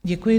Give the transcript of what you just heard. Děkuji.